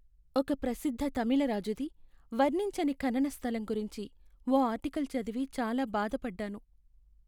ఒక ప్రసిద్ధ తమిళ రాజుది వర్ణించని ఖనన స్థలం గురించి ఓ ఆర్టికల్ చదివి చాలా బాధపడ్డాను.